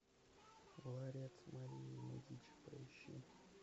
ларец марии медичи поищи